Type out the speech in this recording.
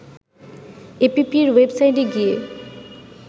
এপিপির ওয়েবসাইটে গিয়ে